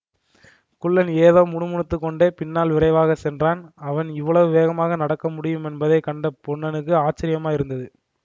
குள்ளன் ஏதோ முணுமுணுத்து கொண்டே பின்னால் விரைவாகச் சென்றான் அவன் இவ்வளவு வேகமாக நடக்க முடியுமென்பதைக் கண்ட பொன்னனுக்கு ஆச்சரியமாயிருந்தது